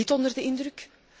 niet onder de indruk